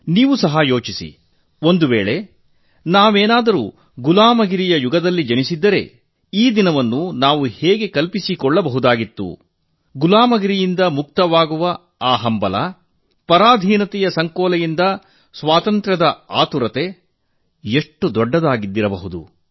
ನೀವು ಸಹ ಯೋಚಿಸಿ ಒಂದು ವೇಳೆ ನಾವು ಗುಲಾಮಗಿರಿಯ ಯುಗದಲ್ಲಿ ಜನಿಸಿದ್ದರೆ ಈ ದಿನವನ್ನು ನಾವು ಹೇಗೆ ಊಹಿಸಿಕೊಳ್ಳ ಬಹುದಾಗಿತ್ತು ಗುಲಾಮಗಿರಿಯಿಂದ ಮುಕ್ತವಾಗುವ ಆ ಹಂಬಲ ಪರಾಧೀನತೆಯ ಸಂಕೋಲೆಯಿಂದ ಬಿಡಿಸಿಕೊಂಡು ಸ್ವಾತಂತ್ರ್ಯ ಪಡೆಯುವ ಕಾತುರ ಎಷ್ಟು ದೊಡ್ಡದಾಗಿರಬಹುದು